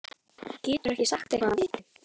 Geturðu ekki sagt eitthvað af viti?